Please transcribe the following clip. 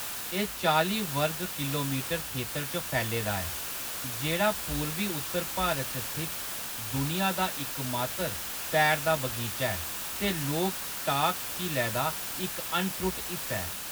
एह्‌‌ चालीं वर्ग किल्लोमीटर खेतर च फैले दा ऐ, जेह्‌‌ड़ा पूर्वी-उत्तर भारत च स्थित दुनिया दा इकमात्तर तैरदा बगीचा ऐ ते लोकटाक झीलै दा इक अनत्रुट हिस्सा ऐ।